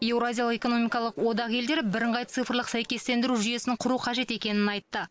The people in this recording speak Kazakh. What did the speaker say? еуразиялық экономикалық одақ елдері бірыңғай цифрлық сәйкестендіру жүйесін құру қажет екенін айтты